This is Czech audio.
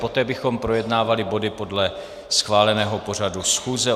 Poté bychom projednávali body podle schváleného pořadu schůze.